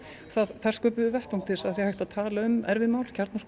þar sköpuðum við vettvang til að tala um erfið mál